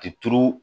Te turu